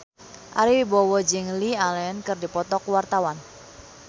Ari Wibowo jeung Lily Allen keur dipoto ku wartawan